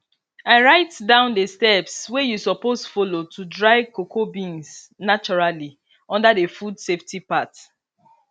i write down the steps wey you suppose follow to dry cocoa beans naturally under the food safety part